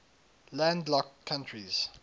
landlocked countries